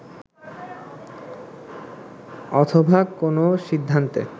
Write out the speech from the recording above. অথবা কোনো সিদ্ধান্তে